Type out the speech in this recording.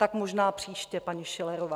Tak možná příště, paní Schillerová.